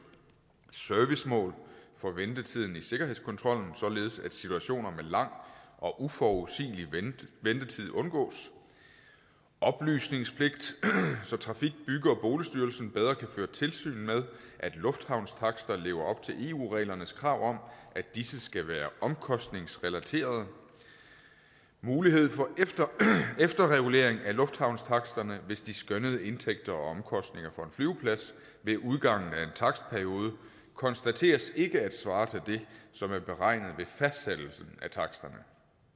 servicemål for ventetiden i sikkerhedskontrollen således at situationer med lang og uforudsigelig ventetid undgås oplysningspligt så trafik bygge og boligstyrelsen bedre kan føre tilsyn med at lufthavnstakster lever op til eu reglernes krav om at disse skal være omkostningsrelaterede mulighed for efterregulering af lufthavnstaksterne hvis de skønnede indtægter og omkostninger for en flyveplads ved udgangen af en takstperiode konstateres ikke at svare til det som er beregnet ved fastsættelsen af taksterne